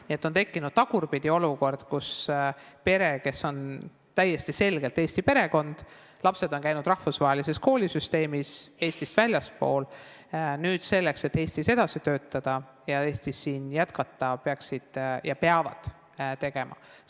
Nii et on tekkinud tagurpidi olukord, kus pere on täiesti selgelt eesti perekond, aga lapsed on käinud rahvusvahelises koolisüsteemis, Eestist väljaspool, ning selleks, et siin Eestis jätkata, peaksid ja peavad lapsed tegema eksami.